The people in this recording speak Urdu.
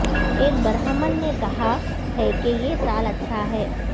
اک برہمن نے کہا ہے کہ یہ سال اچھا ہے